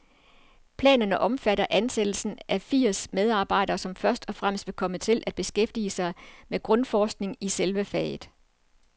Planerne omfatter ansættelsen af firs medarbejdere, som først og fremmest vil komme til at beskæftige sig med grundforskning i selve faget.